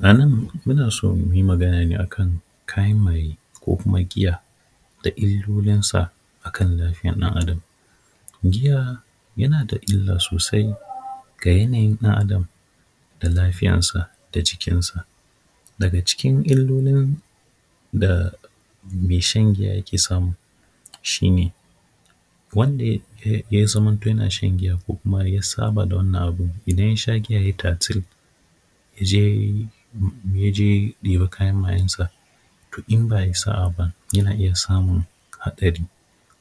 A nan ina so nayi magana ne akan kayan maye ko kuma giya da ilolinsa akan lafiyan ɗan adam, giya yana da illa sosai ga yanayin ɗan adam da lafiyansa da jikinsa, daga cikin ilolin da mai shan giya yake samu shi ne, wanda ya zamanto yana shan giya ko ya saba da wannan abin idan ya sha giya ya yi tatir ya je ya ɗebi kayan mayansa, to in ba ayi sa’a ba yana iya samun hatsari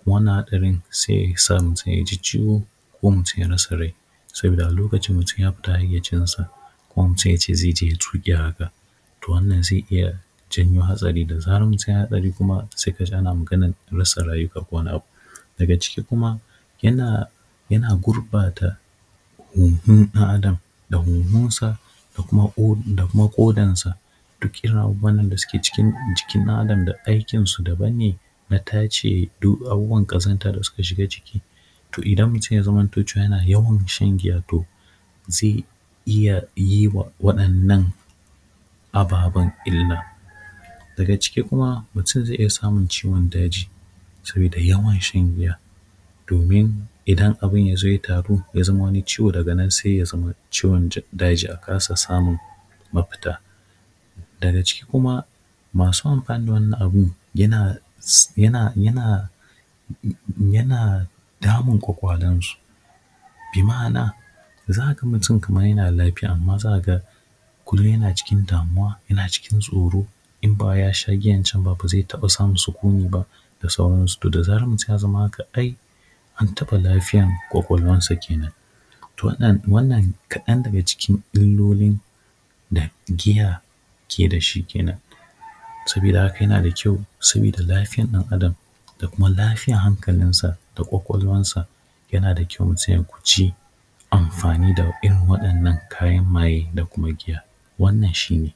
wannan hatsarin sai yasa yaji ciwo ko mutum ya rasa rai saboda a lokacin mutum ya fita hayyacin sa kuma mutum yace zai je ya yi tuki haka, to wannan zai iya janyo hatsari da zarar mutum ya yi hatsari, kuma sai kaji ana maganan rasa rayuka ko wani abu, daga ciki kuma yana gurɓata huhun ɗan adam da huhunsa da kuma kodansa, duk irin abubuwan da suke cikin jikin ɗan adam aikin su daban ne na tace duk abubuwan kazanta da suka shiga jiki, to idan mutum ya zamanto yana yawan shan giya to zai iya yi wa waɗannan ababan illa, daga ciki kuma mutum zai iya samun ciwon daji saboda yawan shan giya, domin idan abin yazo ya taru zamo wani ciwo daga nan sai ya zamo ciwon daji akasa samun mafita, daga ciki kuma masu amfani wannan abun yana damun ƙwaƙwalansu bi ma’ana zaka ga mutum kaman yana da lafiya amma zaka ga kullum yana cikin damuwa yana cikin tsoro, in baya wai sha giyan can ba zai iya samun sikuni ba da sauran su, to da zarar mutum ya zama kadai an taɓa lafiyar ƙwaƙwalwan sa kenan, to wannan kaɗan daga cikin illolin da giya ke da shi kenan saboda haka yana da kyau saboda lafiyar ɗan adam da kuma lafiyar hankalinsa da ƙwaƙwalwansa, yana da kyau mutum ya kuji amfani da irin waɗannan kayan maye da kuma giya, wannan shi ne.